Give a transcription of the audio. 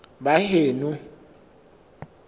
baheno